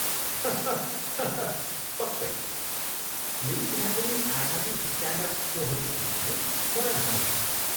हाहा हाहा पक्कै! यदि त्यहाँ कुनै आगामी स्ट्यान्ड अप सोहरू छन् भने मलाई भन्नुहोला।